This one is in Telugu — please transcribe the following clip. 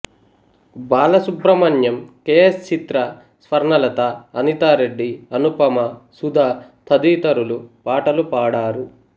బాలసుబ్రహ్మణ్యం కె ఎస్ చిత్ర స్వర్ణలత అనితారెడ్డి అనుపమ సుధ తదితరులు పాటలు పాడారు